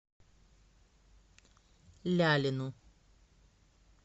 лялину